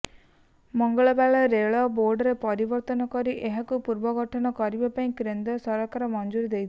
ମଙ୍ଗଳବାର ରେଳ ବୋର୍ଡରେ ପରିବର୍ତ୍ତନ କରି ଏହାକୁ ପୁନର୍ଗଠନ କରିବା ପାଇଁ କେନ୍ଦ୍ର ସରକାର ମଞ୍ଜୁରୀ ଦେଇଛନ୍ତି